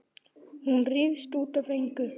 Hún rífst út af engu.